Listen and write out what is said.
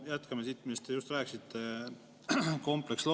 Jätkame siit teemal, millest te just rääkisite, nimelt kompleksload.